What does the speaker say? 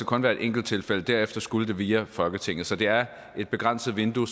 kun være et enkelt tilfælde derefter skulle det via folketinget så det er begrænsninger